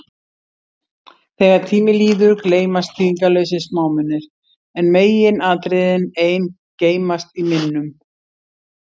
Þegar tími líður, gleymast þýðingarlausir smámunir, en meginatriðin ein geymast í minnum.